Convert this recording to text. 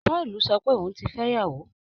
Pọ́ọ̀lù sọ pé òun ti fẹ́yàwó